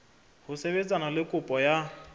ho sebetsana le kopo ya